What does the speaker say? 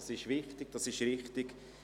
Das ist wichtig, das ist richtig.